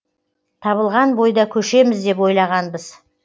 табылған бойда көшеміз деп ойлағанбыз